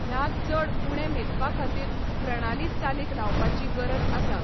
ह्या चड उणें मेजपाखातीर प्रणाली चालीक लावपाची गरज आसा.